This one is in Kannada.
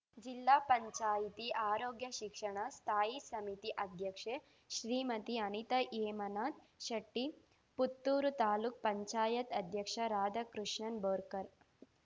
ಜಿಲ್ಲಾಪಂಚಾಯ್ತಿಆರೋಗ್ಯಶಿಕ್ಷಣ ಸ್ಥಾಯಿ ಸಮಿತಿ ಅಧ್ಯಕ್ಷೆ ಶ್ರೀಮತಿ ಅನಿತಾ ಹೇಮನಾಥ ಶೆಟ್ಟಿ ಪುತ್ತೂರು ತಾಲೂಕ್ ಪಂಚಾಯತ್ ಅಧ್ಯಕ್ಷ ರಾಧಾಕೃಷ್ಣನ್ ಬೋರ್ಕರ್